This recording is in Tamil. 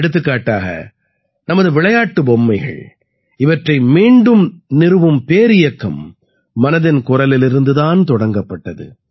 எடுத்துக்காட்டாக நமது விளையாட்டு பொம்மைகள் இவற்றை மீண்டும் நிறுவும் பேரியக்கம் மனதின் குரலிலிருந்து தான் தொடங்கப்பட்டது